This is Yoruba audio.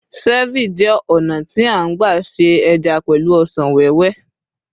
cervi jé ònà ti a n gba se eja pẹlu ọsàn wéwé